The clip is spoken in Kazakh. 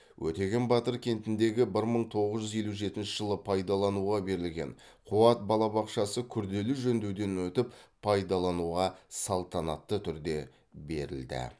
өтеген батыр кентіндегі бір мың тоғыз жүз елу жетінші жылы пайдалануға берілген қуат балабақшасы күрделі жөндеуден өтіп пайдалануға салтанатты түрде берілді